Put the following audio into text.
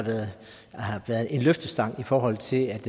været en løftestang i forhold til at